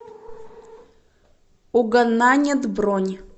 угонанет бронь